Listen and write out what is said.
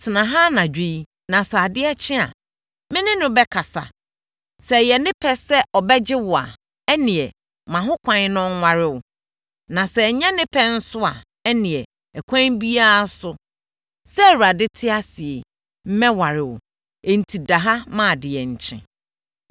Tena ha anadwo yi na sɛ adeɛ kye a, me ne no bɛkasa. Sɛ ɛyɛ ne pɛ sɛ ɔbɛgye wo a, ɛnneɛ ma ho kwan na ɔnware wo. Na sɛ ɛnyɛ ne pɛ nso a, ɛnneɛ, ɛkwan biara so, sɛ Awurade te ase yi, mɛware wo! Enti da ha ma adeɛ nkye.”